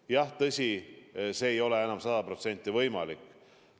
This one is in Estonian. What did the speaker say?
Jah, tõsi, see ei ole enam sada protsenti võimalik.